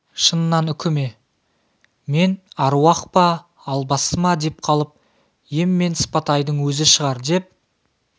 шыннан үкі ме мен аруақ па албасты ма деп қалып ем мен сыпатайдың өзі шығар деп